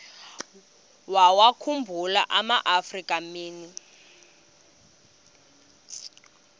wawakhumbul amaafrika mini